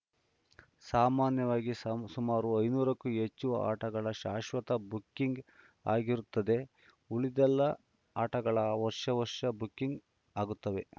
ಸಾಮಾನ್ಯವಾಗಿ ಸುಮಾರು ಐದುನೂರಕ್ಕೂ ಹೆಚ್ಚು ಆಟಗಳ ಶಾಶ್ವತ ಬುಕ್ಕಿಂಗ್‌ ಆಗಿರುತ್ತದೆ ಉಳಿದೆಲ್ಲ ಆಟಗಳು ವರ್ಷ ವರ್ಷ ಬುಕ್ಕಿಂಗ್‌ ಆಗುತ್ತವೆ